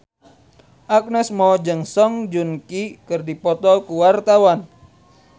Agnes Mo jeung Song Joong Ki keur dipoto ku wartawan